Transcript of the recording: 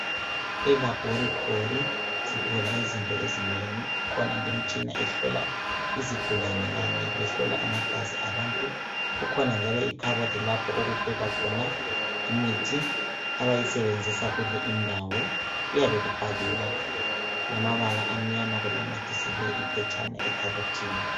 E laboratory sithola izinto ezinengi. Kukhona imtshina ehlola izigulane Kanye lehlola amagazi abantu. Kukhona njalo ikhabothi lapho okubekwa khona imithi abayisebenzisa kule indawo. Kuyabe kubhaliwe ngamabala amnyama kunamathiselwe iphepha ekhabothini.